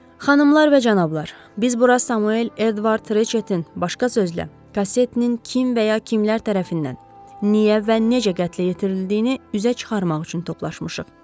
Xanımlar və cənablar, biz bura Samuel Eduard Reçetin, başqa sözlə, kasetinin kim və ya kimlər tərəfindən, niyə və necə qətlə yetirildiyini üzə çıxarmaq üçün toplaşmışıq.